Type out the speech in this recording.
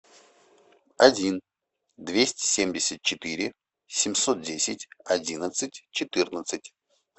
один двести семьдесят четыре семьсот десять одиннадцать четырнадцать